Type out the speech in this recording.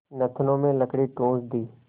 नथनों में लकड़ी ठूँस दी